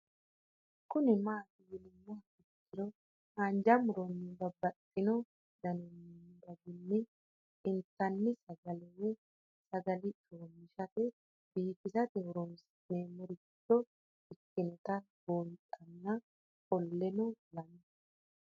Kuni mati yinumoha ikiro hanja muroni babaxino daninina ragini intani sagale woyi sagali comishatenna bifisate horonsine'morich ikinota bunxana qoleno lame